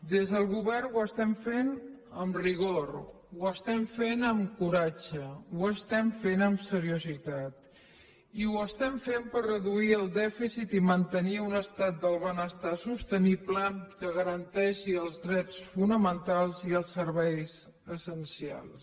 des del govern ho estem fent amb rigor ho estem fent amb coratge ho estem fent amb seriositat i ho estem fent per reduir el dèficit i mantenir un estat del benestar sostenible que garanteixi els drets fonamentals i els serveis essencials